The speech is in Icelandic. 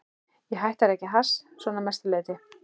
Ég hætti að reykja hass, svona að mestu leyti.